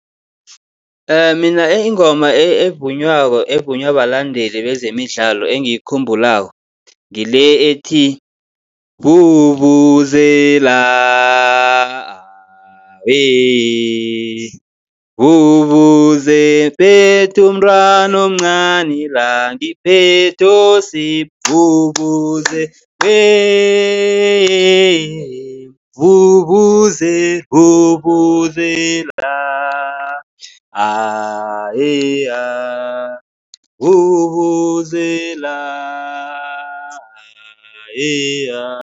Mina ingoma evunywako evunywa balandeli bezemidlalo engiyikhumbulako ngile ethi, vuvuzela aaa weee vuvuzela, phethe umntwana omncani la ngiphethe uSipho, vuvuzela weee yeee vuvuzela, vuvuzela ah ye ha, vuvuzela ah ye ha.